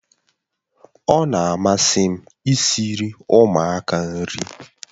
Ọ na-amasị m i siri ụmụaka nri